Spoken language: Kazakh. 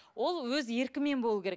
ол еркімен болуы керек